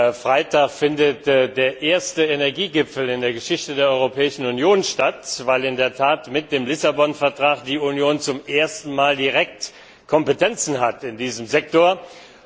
Am Freitag findet der erste Energiegipfel in der Geschichte der Europäischen Union statt, weil die Union in der Tat mit dem Vertrag von Lissabon zum ersten Mal direkt Kompetenzen in diesem Sektor hat.